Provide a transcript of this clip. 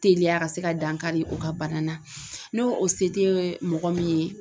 Teliya ka se ka dankari o ka bana na n'o o se te mɔgɔ min ye